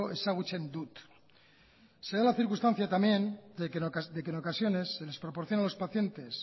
ezagutzen dut se da la circunstancia también de que en ocasiones se les proporciona a los pacientes